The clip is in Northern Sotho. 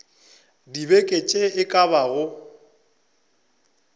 dibeke tše e ka bago